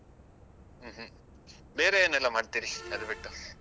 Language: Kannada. ಹ್ಮ್ ಹ್ಮ್ ಬೇರೆ ಏನೆಲ್ಲ ಮಾಡ್ತಿರಿ ಅದು ಬಿಟ್ಟು?